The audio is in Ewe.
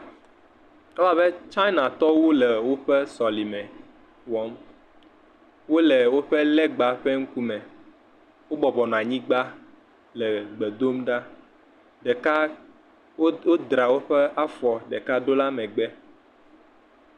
ewɔbɛ China tɔwo le wóƒe sɔleme wɔm, wóle wóƒe legba ƒe ŋkume wó bɔbɔnɔ nyigbã le gbe dom ɖa ɖeka wó dra wóƒe afɔ ɖeka dó la megbe